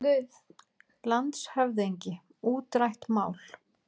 LANDSHÖFÐINGI: Útrætt mál!